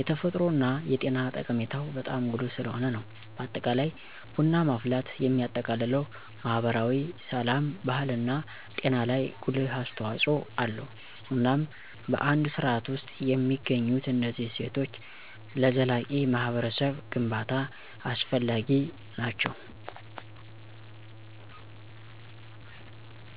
የተፈጥሮ እና የጤና ጠቀሜታው በጣም ጉልህ ስለሆነ ነው። በአጠቃላይ ቡና ማፍላት የሚያጠቃልለው ማህበራዊ፣ ስላም፣ ባህልና ጤና ላይ ጉልህ አስተዋጽኦ አለው። እናም በአንድ ስርዓት ውስጥ የሚገኙት እነዚህ እሴቶች ለዘላቂ ማህበረሰብ ግንባታ አስፈላጊ ናቸው።